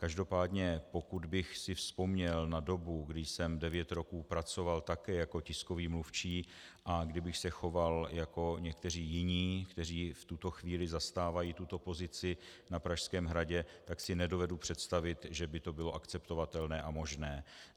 Každopádně pokud bych si vzpomněl na dobu, kdy jsem devět roků pracoval také jako tiskový mluvčí, a kdybych se choval jako někteří jiní, kteří v tuto chvíli zastávají tuto pozici na Pražském hradě, tak si nedovedu představit, že by to bylo akceptovatelné a možné.